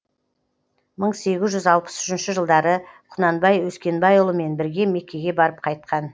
мың сегіз жүз алпыс үшінші жылдары құнанбай өскенбайұлымен бірге меккеге барып қайтқан